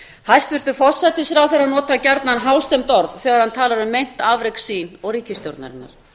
hæstvirtur forsætisráðherra notar gjarnan hástemmd orð þegar hann talar um meint afrek sín og ríkisstjórnarinnar